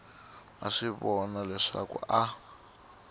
a swi vona leswaku a